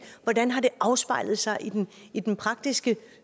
hvordan har det afspejlet sig i den i den praktiske